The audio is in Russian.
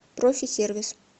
профи сервис